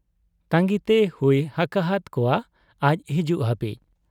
ᱛᱟᱺᱜᱤᱛᱮ ᱦᱩᱭ ᱟᱠᱟᱦᱟᱫ ᱠᱚᱣᱟ ᱟᱡ ᱦᱤᱡᱩᱜ ᱦᱟᱹᱵᱤᱡ ᱾